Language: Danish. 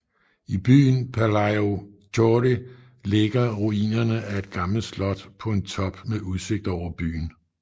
I byen Palaiochori ligger ruinerne af et gammelt slot på en top med udsigt over byen